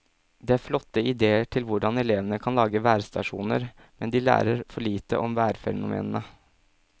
Det er flotte idéer til hvordan elevene kan lage værstasjoner, men de lærer for lite om værfenomenene.